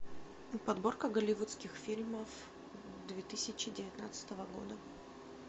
подборка голливудских фильмов две тысячи девятнадцатого года